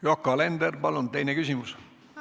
Yoko Alender, palun teine küsimus!